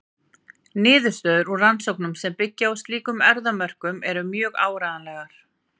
Niðurstöður úr rannsóknum sem byggja á slíkum erfðamörkum eru mjög áreiðanlegar.